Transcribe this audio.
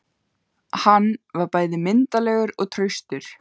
Hann var bæði myndarlegur og traustur.